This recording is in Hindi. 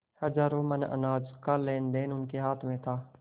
हजारों मन अनाज का लेनदेन उनके हाथ में था